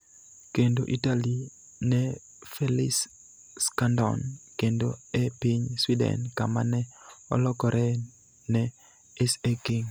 kendo Italy ne Felice Scandone kendo e piny Sweden kama ne olokore ne SA Kings.